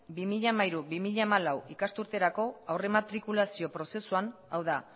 bi mila hamairu bi mila hamalau ikasturterako aurrematrikulazio prozesuan hau da